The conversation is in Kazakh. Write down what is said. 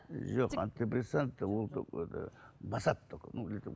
жоқ антидепрессанты басады